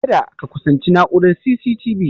Kada ka kusanci na'urar C.C.T.V